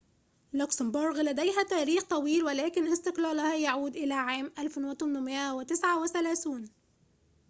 لوكسمبورغ لديها تاريخ طويل ولكن استقلالها يعود إلى عام 1839